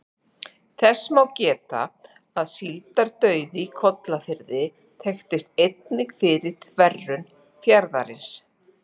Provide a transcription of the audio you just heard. Þess má geta að síldardauði í Kolgrafafirði þekktist einnig fyrir þverun fjarðarins.